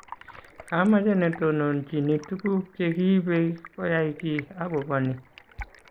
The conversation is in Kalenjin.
kamache netondonochini tuguk chegiibe koyay giiy agoba ni